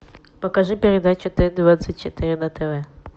покажи передачу т двадцать четыре на тв